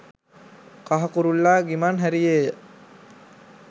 කහ කුරුල්ලා ගිමන් හැරියේය.